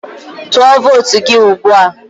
Tụọ vootu gị ugbua!